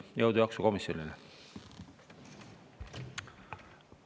Jõudu, jaksu komisjonile!